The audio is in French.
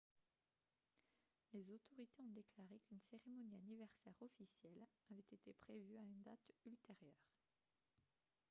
les autorité ont déclaré qu'une cérémonie anniversaire officielle avait été prévue à une date ultérieure